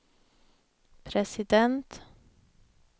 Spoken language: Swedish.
president